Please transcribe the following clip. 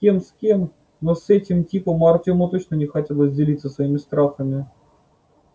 с кем с кем но с этим типом артёму точно не хотелось делиться своими страхами